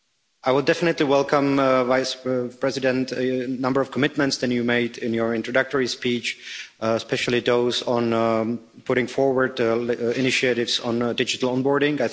I would definitely welcome, Executive Vice-President, a number of the commitments that you made in your introductory speech, especially those on putting forward initiatives on digital onboarding.